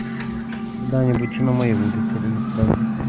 когда-нибудь и на моей улице будет праздник